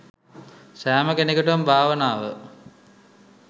සැම කෙනෙකුටම භාවනාව